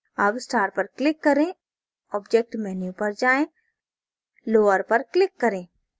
अब star पर click करें object menu पर जाएँ lower पर click करें